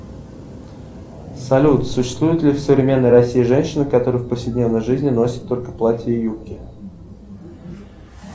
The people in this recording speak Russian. салют существуют ли в современной россии женщины которые в повседневной жизни носят только платья и юбки